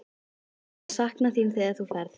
Hvað ég mun sakna þín þegar þú ferð.